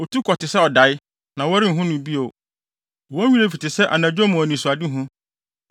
Otu kɔ te sɛ ɔdae, na wɔrenhu no bio, wɔn werɛ fi te sɛ anadwo mu anisoadehu.